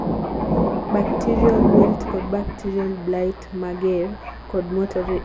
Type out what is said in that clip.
bacterial wilt kod bacterial blight mager kod moderate powdery mildew e seche ma koth chwe